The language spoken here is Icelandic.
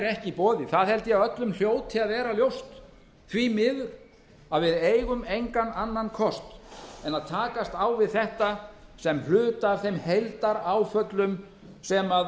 í boði það held ég að öllum hljóti að vera ljóst því miður að við eigum engan annan kost en að takast á við þetta sem hluta af þeim heildaráföllum sem